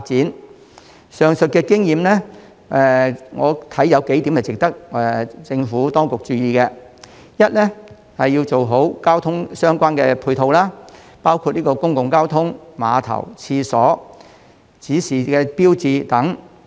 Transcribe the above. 我認為上述經驗有幾點值得政府當局注意：第一，要做好相關的配套設施，包括公共交通、碼頭、廁所、指示標誌等。